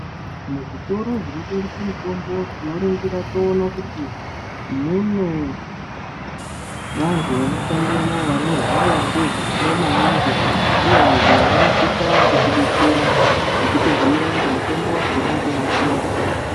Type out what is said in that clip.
Muzvitoro zvinotengesa mitombo tinoringira toona kuti mune vantu vanoshandemo vanoziya ngezvamo maningi uye vantu ava vanosisa kutibetsera nokutibhoera kuti mutombo wakona tinoitora sei.